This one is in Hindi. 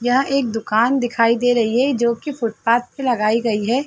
यह एक दुकान दिखाई रही है जो कि फुटपाथ पे लगाई गई है।